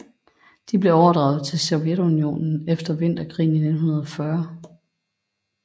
De blev overdraget til Sovjetunionen efter Vinterkrigen i 1940